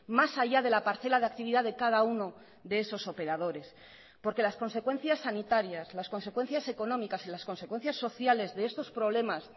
más allá de la parcela de actividad de cada uno de esos operadores porque las consecuencias sanitarias las consecuencias económicas y las consecuencias sociales de estos problemas